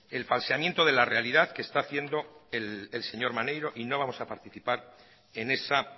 el falseamiento de la realidad que está haciendo el señor maneiro y no vamos a participar en esa